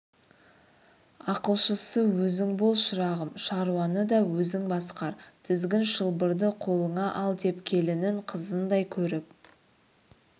ақылшысы өзің бол шырағым шаруаны да өзің басқар тізгін-шылбырды қолыңа ал деп келінін қызындай көріп